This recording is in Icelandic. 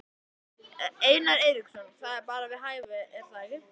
Einar Eiríksson: Það er bara við hæfi er það ekki?